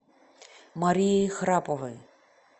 марией храповой